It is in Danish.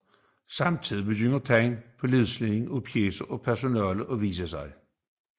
Samtidig begyndte tegn på nedslidning af pjecer og personel at vise sig